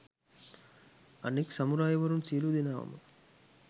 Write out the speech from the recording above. අනෙක් සමුරායිවරුන් සියලු දෙනාවම